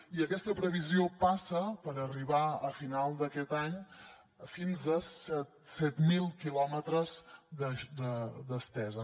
i aquesta previsió passa per arribar a final d’aquest any fins a set mil quilòmetres d’estesa